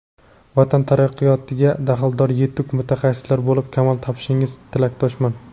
vatan taraqqiyotiga daxldor yetuk mutaxassislar bo‘lib kamol topishingizga tilakdoshman.